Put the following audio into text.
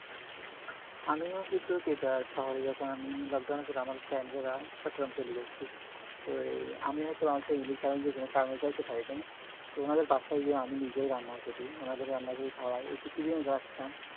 আমিও কিন্তু শহরে যখন lockdown এ চট্টগ্রাম চলে যাই তো এই আমি হয়তো আছি যেকোনো কারণে যাইতে পারিনাই তখন ওদের বাসায় গিয়ে আমি নিজেই রান্না করি মানে ওদের রান্না করে খাওয়াই এই কিছুদিন আগে আসলাম